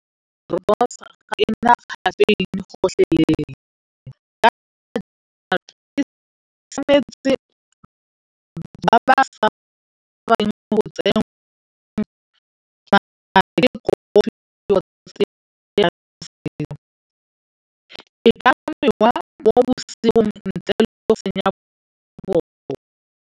Rooibos ga ena caffeine gotlhelele .